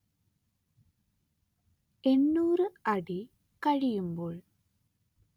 എന്നൂര് അടി കഴിയുമ്പോൾ